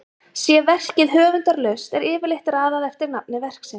sé verkið höfundarlaust er yfirleitt raðað eftir nafni verksins